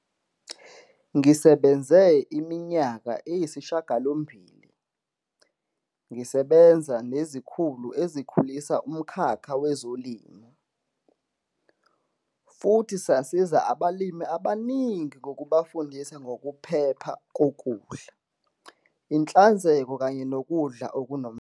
"Ngisebenze iminyaka eyisishiyagalombili, ngisebenza nezikhulu ezikhulisa umkhakha wezolimo, futhi sasiza abalimi abaningi ngokubafundisa ngokuphepha kokudla, inhlanzeko kanye nokudla okunomsoco."